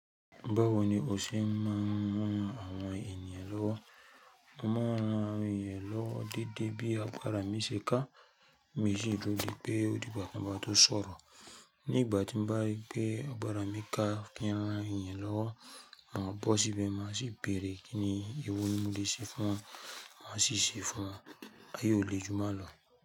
Báwo ni o ṣe máa ń ran àwọn ènìyàn lọ́wọ́? Mo máa ń ran àwọn ènìyàn lọ́wọ́ déédé bí àgbàrá mi ṣe ká, mi i sì dúró de pé ó di gbà tan bá tó sọ̀rọ̀. Nígbà tí ń bá rí pé àgbàrá mi ká kí n rán ènìyàn lọ́wọ́, mà bọ́ síbẹ̀ má sì béèrè kí ni èwo ni mo lè ṣe fún wọn, màá ṣíṣe fún wọn, ayé ó le jù n lọ.